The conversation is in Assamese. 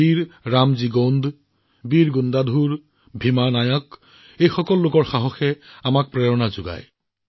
বীৰ ৰামজী গণ্ডই হওক বীৰ গুণ্ডাধুৰেই হওক বা ভীমা নায়কেই হওক তেওঁলোকৰ সাহসে এতিয়াও আমাক অনুপ্ৰাণিত কৰে